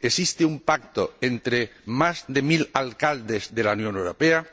Existe un pacto entre más de mil alcaldes de la Unión Europea